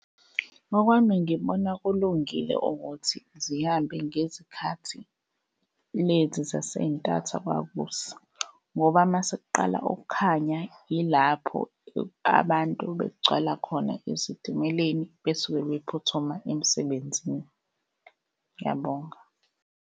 Ngokwami ngibona kulungile ukuthi zihambe ngezikhathi lezi zasey'ntatha kwakusa, ngoba mase kuqala ukukhanya ilapho abantu begcwala khona ezitimeleni besuke bephuthuma emsebenzini. Ngiyabonga.